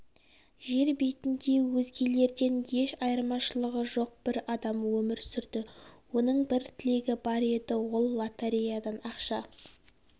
жер бетінде өзгелерден еш айырмашылығы жоқ бір адам өмір сүрді оның бір тілегі бар еді ол лотереядан ақша